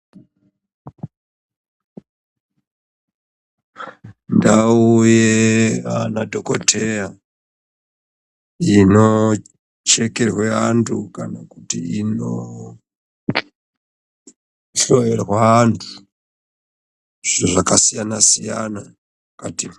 Ndau yemadhokoteya inochekerwa antu kana kuti inohloyerwa vantu zvakasiyana siyana mukati.